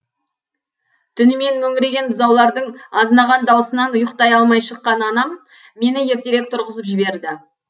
түнімен мөңіреген бұзаулардың азынаған дауысынан ұйықтай алмай шыққан анам мені ертерек тұрғызып жіберді